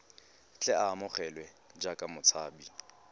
tle a amogelwe jaaka motshabi